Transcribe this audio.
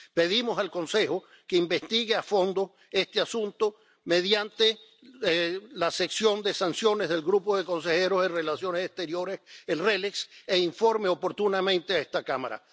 Pedimos al Consejo que investigue a fondo este asunto mediante la sección de sanciones del Grupo de Consejeros de Relaciones Exteriores —el RELEX— e informe oportunamente a esta Cámara.